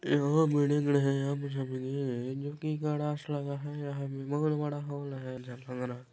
जो की बहुत बड़ा हॉल है